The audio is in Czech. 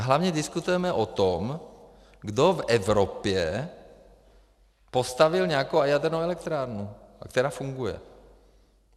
A hlavně diskutujeme o tom, kdo v Evropě postavil nějakou jadernou elektrárnu, která funguje.